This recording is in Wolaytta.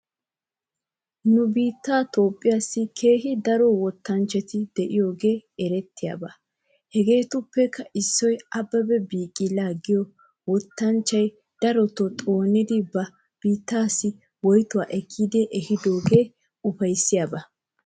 Nu biittee toophpheessi keehi daro wottanchchati de'iyoogee erettiyaaba. Hegeetuppekka issoy abebe biqila giyoo wottanchchay daroto xoonidi ba biitteesi woytota ekkidi ehiidoogee ufayssiyaaba.